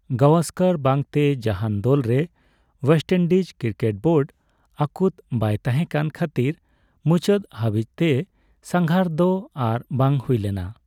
ᱜᱟᱣᱟᱥᱠᱟᱨ ᱵᱟᱝᱛᱮ ᱡᱟᱦᱟᱱ ᱫᱚᱞ ᱨᱮ ᱳᱣᱮᱥᱴ ᱤᱱᱰᱤᱡ ᱠᱨᱤᱠᱮᱴ ᱵᱳᱰ ᱟᱹᱠᱩᱛ ᱵᱟᱭ ᱛᱟᱦᱮᱠᱟᱱ ᱠᱷᱟᱹᱛᱤᱨ ᱢᱩᱪᱟᱹᱫ ᱦᱟᱹᱵᱤᱪᱛᱮ ᱥᱟᱝᱜᱷᱟᱨ ᱫᱚ ᱟᱨ ᱵᱟᱝ ᱦᱩᱭᱞᱮᱱᱟ ᱾